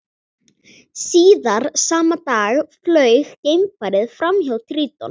Síðar sama dag flaug geimfarið fram hjá Tríton.